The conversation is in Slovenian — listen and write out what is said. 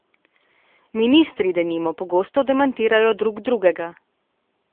Ministri, denimo, pogosto demantirajo drug drugega.